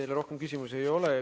Teile rohkem küsimusi ei ole.